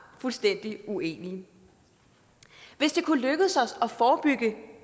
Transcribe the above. fuldstændig uenige hvis det kunne lykkes os at forebygge